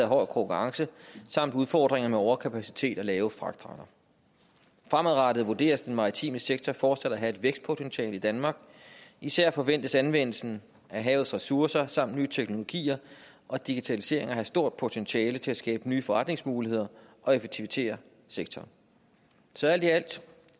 hård konkurrence samt udfordringer med overkapacitet og lave fragtrater fremadrettet vurderes den maritime sektor fortsat at have et vækstpotentiale i danmark især forventes anvendelsen af havets ressourcer samt nye teknologier og digitalisering at have stort potentiale til at skabe nye forretningsmuligheder og effektivisere sektoren så alt i alt ser